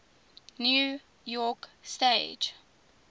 new york stage